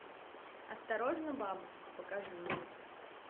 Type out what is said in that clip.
осторожно бабушка покажи мне